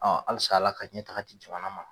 halisa Ala ka ɲɛtaga di jamana ma.